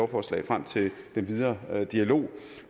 forslag frem til den videre dialog